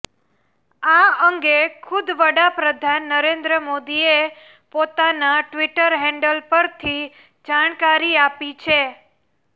આ અંગે ખુદ વડાપ્રધાન નરેન્દ્ર મોદીએ પોતાના ટ્વીટર હેન્ડલ પરથી જાણકારી આપી છે